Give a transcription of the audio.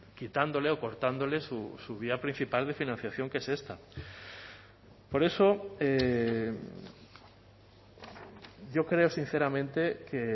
quitándole o cortándole su vía principal de financiación que es esta por eso yo creo sinceramente que